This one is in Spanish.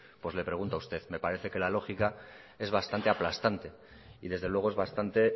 pues le pregunta a usted me parece que la lógica es bastante aplastante y desde luego es bastante